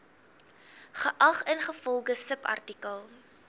geag ingevolge subartikel